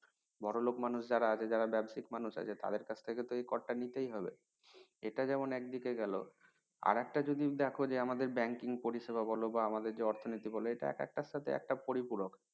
বড়লোক মানুষ যারা আছে যারা ব্যাবসায়িক মানুষ আছে তাদের কাছ থেকে তো এই কর টা নিতেই হবে এটা যেমন একদিকে গেল আরেকটা যদি দেখ যে আমাদের banking পরিষেবা বল বা আমাদের যে অর্থনীতি বলো এটা আক্তার সাথে একটা পরিপূরক